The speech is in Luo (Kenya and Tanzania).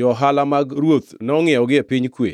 johala mag ruoth nongʼiewogi e piny Kue.